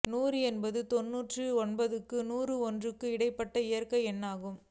நூறு என்பது தொன்னூற்று ஒன்பதுக்கும் நூற்று ஒன்றுக்கும் இடைப்பட்ட இயற்கை எண்ணாகும்